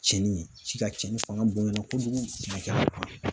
Cɛnni ye ji ka cɛnni fanga bonyana kojugu